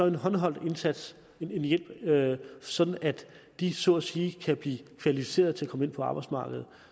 en håndholdt indsats en hjælp sådan at de så at sige kan blive kvalificeret til at komme ind på arbejdsmarkedet